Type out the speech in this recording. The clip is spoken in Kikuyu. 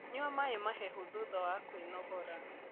Nyua maĩ mahehu thutha wa kwĩnogora